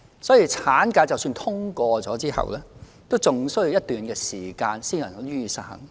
所以，產假的法案即使通過後，仍需要一段時間才可以實行。